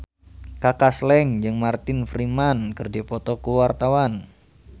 Kaka Slank jeung Martin Freeman keur dipoto ku wartawan